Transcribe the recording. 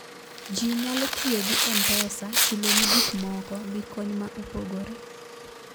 ji nyalo tiyogi mpesa chuloni gik moko gi kony maopogore